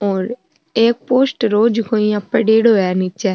और एक पोस्टर हो जिको इया पड़ेड़ो है नीच।